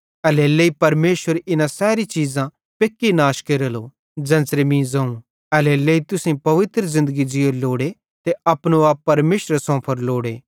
एल्हेरेलेइ कि परमेशर इना सैरी चीज़ां पेक्की नाश केरेलो ज़ेन्च़रे मीं ज़ोवं एल्हेरेलेइ तुसेईं पवित्र ज़िन्दगी ज़ीयोरी लोड़े ते अपनो आप परमेशरे सोंफोरो लोड़े